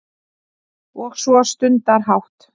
Og svo stundarhátt